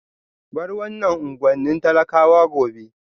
Bar wannan unguwannin talakawa gobe